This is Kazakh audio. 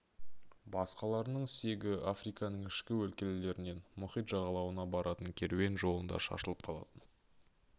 басқаларының сүйегі африканың ішкі өлкелерінен мұхит жағалауына баратын керуен жолында шашылып қалатын